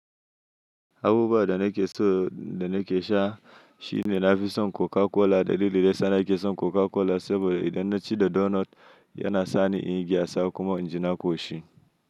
Abubuwa da na ke so da na ke sha. Shine na fi son Coca Cola, da lililen da yasa nake son Coca Cola saboda idan na ci da donot yana sani inyi gyatsa kuma inji na ƙoshi.